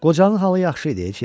Qocanın halı yaxşı idi.